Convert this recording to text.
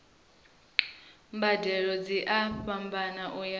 mbadelo dzi a fhambana uya